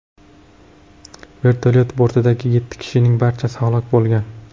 Vertolyot bortidagi yetti kishining barchasi halok bo‘lgan.